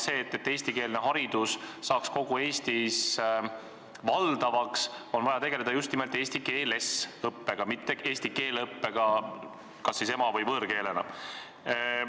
Selleks, et eestikeelne haridus saaks kogu Eestis valdavaks, on vaja tegeleda just nimelt eesti keeles õppega, mitte eesti keele õppega kas ema- või võõrkeelena.